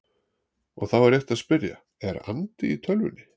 Og þá er rétt að spyrja: Er andi í tölvunni?